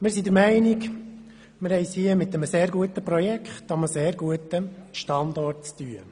Wir sind der Meinung, wir haben es mit einem sehr guten Projekt an einem sehr guten Standort zu tun.